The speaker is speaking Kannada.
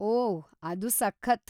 ಓಹ್‌, ಅದು ಸಖತ್!